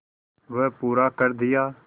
वह पूरा कर दिया